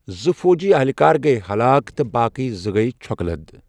زٕ فوجی اہلکار گٔیہِ ہلاک تہٕ باقٕے زٕ گٔیہِ چھۄکہٕ لد۔